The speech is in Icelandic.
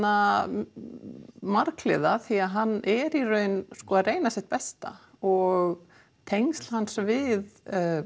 marghliða því hann er í raun að reyna sitt besta og tengsl hans við